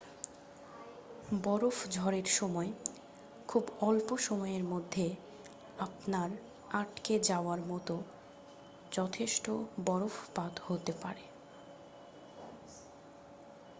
বরফ ঝড়ের সময় খুব অল্প সময়ের মধ্যে আপনার আটকে যাওয়ার মতো যথেষ্ট বরফপাত হতে পারে